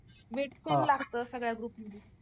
weight same लागतं सगळ्या group मध्ये